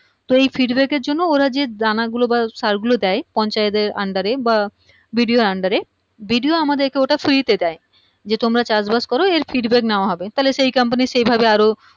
তো এই feedback এর জন্য ওরা যেই দানাগুলো বা সারগুলো দেয় পঞ্চয়েতের Under এ বা BDO র under এ BDO আমাদের ওটা Free তে দেয় যে তোমরা চাষবাস করো এর feedback নেয়া হবে তাহলে সেই company সেভাবে আরো